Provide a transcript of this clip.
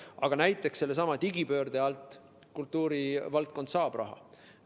Aga näiteks sellesama digipöörde alt kultuurivaldkond raha saab.